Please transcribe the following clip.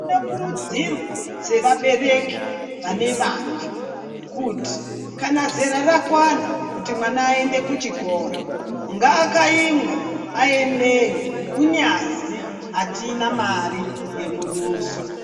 Kune kurudzirwo dzevabereki vane vana kuti kana zera rakwana kuti mwana aende kuchikora ngakaimwe aendewo kunyazi atina mare yemuduso.